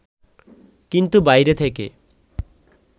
কিন্তু বাইরে থেকে